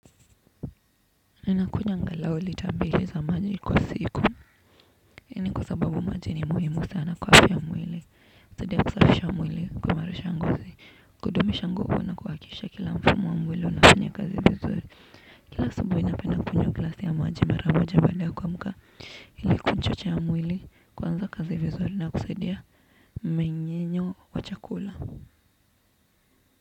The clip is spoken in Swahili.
Ninakunywa angalau lita mbili za maji kwa siku. Hii ni kwa sababu maji ni muhimu sana kwa afya ya mwili. Husadia kusafisha mwili, kuimarisha ngozi, kudumisha nguvu na kuhakisha kila mfumo wa mwili unafanya kazi vizuri. Kila asubuhi napenda glasi ya maji mara moja baada ya kuamka ili kuchocha mwili kuanza kazi vizuri na kusaidia mmenyenyo wa chakula.